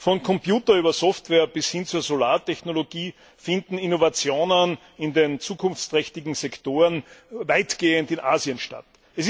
Von Computer über Software bis hin zu Solartechnologie finden Innovationen in den zukunftsträchtigen Sektoren weitgehend in Asien statt.